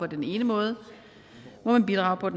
den ene måde må man bidrage